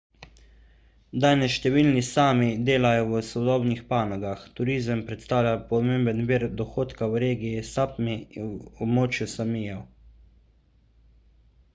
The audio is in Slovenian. danes številni sámi delajo v sodobnih panogah. turizem predstavlja pomemben vir dohodka v regiji sápmi območju sámijev